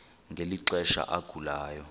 ngeli xesha agulayo